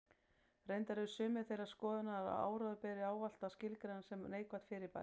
Reyndar eru sumir þeirrar skoðunar að áróður beri ávallt að skilgreina sem neikvætt fyrirbæri.